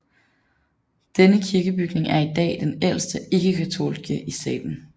Denne kirkebygning er i dag den ældste ikke katolske i staten